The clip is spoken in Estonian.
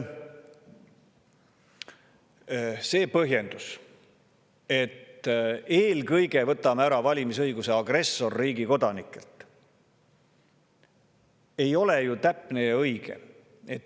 See põhjendus, et eelkõige võtame valimisõiguse ära agressorriigi kodanikelt, ei ole ju täpne ja õige.